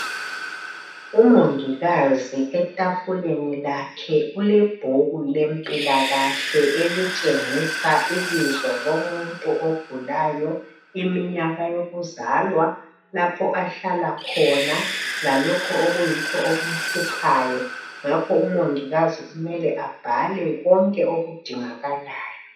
Umongikazi etafuleni lakhe ulebhuku lempilakahle elitshengisa ibizo lomuntu ogulayo, iminyaka yokuzalwa, lapho ahlala khona lalokho okuyikho okumhluphayo, ngakho umongikazi kumele abhale konke okudingakalayo